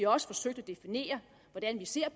også forsøgt at definere hvordan vi ser